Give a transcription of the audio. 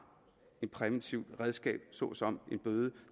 et præventivt redskab såsom en bøde